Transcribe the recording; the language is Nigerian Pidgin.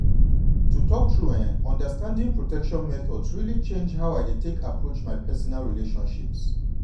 to talk true eh understanding protection methods really change how i dey take approach my personal relationships.